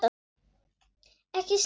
Ekki snerta mig.